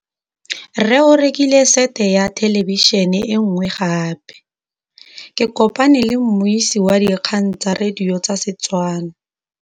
Rre o rekile sete ya thêlêbišênê e nngwe gape. Ke kopane mmuisi w dikgang tsa radio tsa Setswana.